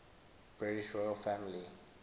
british royal family